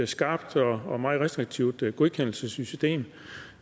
skarpt og meget restriktivt godkendelsessystem